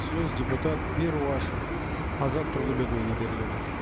сөз депутат перуашев азат тұрлыбекұлына беріледі